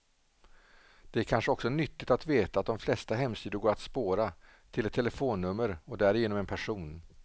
Det är kanske också nyttigt att veta att de flesta hemsidor går att spåra, till ett telefonnummer och därigenom en person.